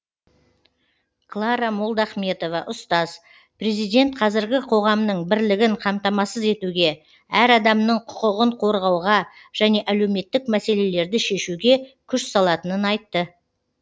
клара молдахметова ұстаз президент қазіргі қоғамның бірлігін қамтамасыз етуге әр адамның құқығын қорғауға және әлеуметтік мәселелерді шешуге күш салатынын айтты